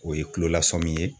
O ye kulolasɔmin ye.